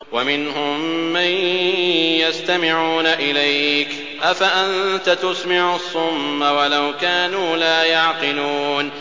وَمِنْهُم مَّن يَسْتَمِعُونَ إِلَيْكَ ۚ أَفَأَنتَ تُسْمِعُ الصُّمَّ وَلَوْ كَانُوا لَا يَعْقِلُونَ